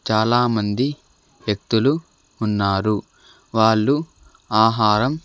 చాలామంది వ్యక్తులు ఉన్నారు వాళ్లు ఆహారం --